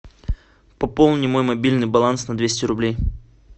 пополни мой мобильный баланс на двести рублей